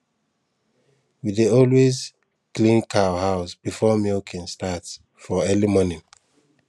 we dey always clean cow house before milking start for early morning